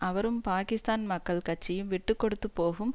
அவரும் பாகிஸ்தான் மக்கள் கட்சியும் விட்டு கொடுத்து போகும்